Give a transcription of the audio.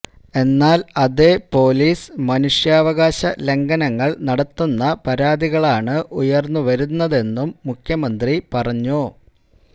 എന്നാല് അതേ പോലീസ് മനുഷ്യാവകാശ ലംഘനങ്ങള് നടത്തുന്ന പരാതികളാണ് ഉയര്ന്നുവരുന്നതെന്നും മുഖ്യമന്ത്രി പറഞ്ഞു